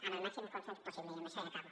amb el màxim consens possible i amb això ja acabo